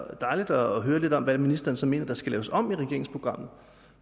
dejligt at høre lidt om hvad ministeren så mener der skal laves om i regeringsprogrammet